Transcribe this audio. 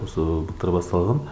осы былтыр басталған